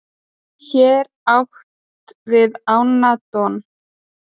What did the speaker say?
hér er átt við ána don